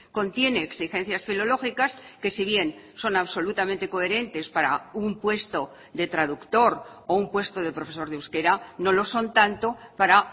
contiene exigencias filológicas que si bien son absolutamente coherentes para un puesto de traductor o un puesto de profesor de euskera no lo son tanto para